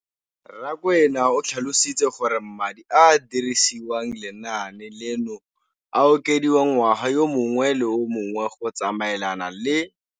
Rakwena o tlhalositse gore madi a a dirisediwang lenaane leno a okediwa ngwaga yo mongwe le yo mongwe go tsamaelana le.